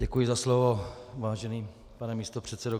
Děkuji za slovo, vážený pane místopředsedo.